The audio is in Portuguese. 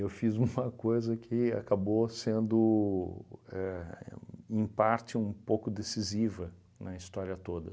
Eu fiz uma coisa que acabou sendo éh, em parte, um pouco decisiva na história toda.